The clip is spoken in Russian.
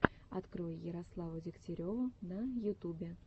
открой ярославу дегтяреву на ютубе